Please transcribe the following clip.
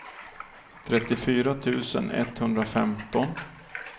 trettiofyra tusen etthundrafemton